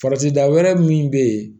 Farati da wɛrɛ min be yen